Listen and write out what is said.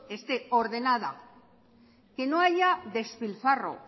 esté ordenada que no haya despilfarro